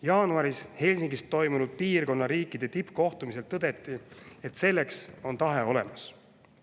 Jaanuaris Helsingis toimunud piirkonna riikide tippkohtumisel tõdeti, et selleks on tahe olemas.